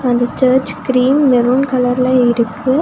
அந்த church cream maroon கலர்ல இருக்கு.